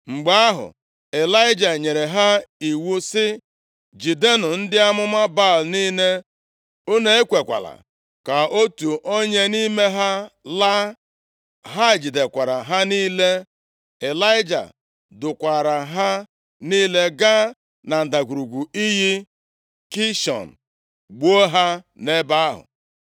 Mgbe ahụ, Ịlaịja nyere ha iwu sị, “Jidenụ ndị amụma Baal niile. Unu ekwekwala ka otu onye nʼime ha laa.” Ha jidekwara ha niile. Ịlaịja dukwaara ha niile gaa na ndagwurugwu iyi Kishọn, gbuo ha nʼebe ahụ.